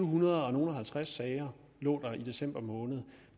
hundrede og halvtreds sager lå der i december måned